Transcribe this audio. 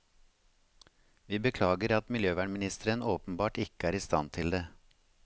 Vi beklager at miljøvernministeren åpenbart ikke er i stand til det.